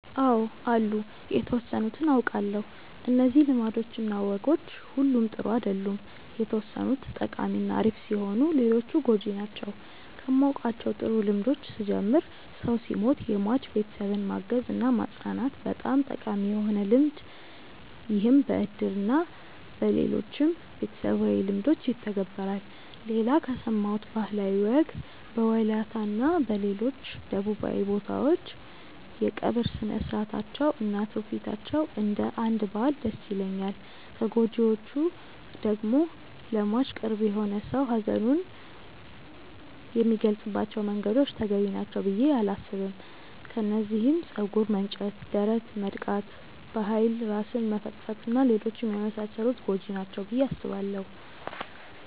አው አሉ የተወሰኑትን አውቃለው። እነዚህ ልማዶች እና ወጎች ሁሉም ጥሩ አይደሉም የተወሰኑት ጠቃሚ እና አሪፍ ሲሆኑ ሌሎቹ ጎጂ ናቸው። ከማውቃቸው ጥሩ ልምዶች ስጀምር ሰው ሲሞት የሟች ቤተሰብን ማገዝ እና ማፅናናት በጣም ጠቃሚ የሆነ ልምድ ይህም በእድር እና በሌሎችም ቤተሰባዊ ልምዶች ይተገበራል። ሌላ ከሰማሁት ባህላዊ ወግ በወላይታ እና ሌሎች ደቡባዊ ቦታዎች የቀብር ስርአታቸው እና ትውፊታቸው እንደ አንድ ባህል ደስ ይለኛል። ከጎጂዎቹ ደግሞ ለሟች ቅርብ የሆነ ሰው ሀዘኑን የሚገልፀባቸው መንገዶች ተገቢ ናቸው ብዬ አላስብም። ከነዚህም ፀጉር መንጨት፣ ደረት መድቃት፣ በኃይል ራስን መፈጥፈጥ እና ሌሎችም የመሳሰሉት ጎጂ ናቸው ብዬ አስባለው።